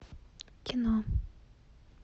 кино